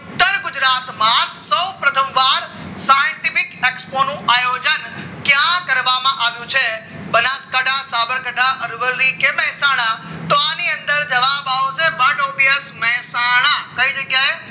scientific Expo નું આયોજન ક્યાં કરવામાં આવ્યું છે બનાસકાંઠા સાબરકાંઠા અરવલ્લી કે મહેસાણા તો આની અંદર જવાબ આવશે મહેસાણા કઈ જગ્યાએ